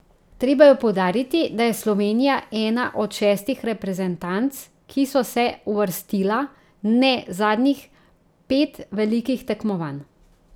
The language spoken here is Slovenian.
Treba je poudariti, da je Slovenija ena od šestih reprezentanc, ki so se uvrstila ne zadnjih pet velikih tekmovanj.